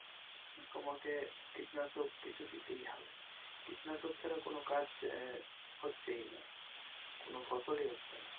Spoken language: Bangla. তোমাকে কীটনাশক কিছু দিতেই হবে কীটনাশক ছাড়া কোন কাজ আহ হচ্ছেই না কোন ফসলই হচ্ছে না।